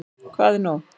Hvað er nóg?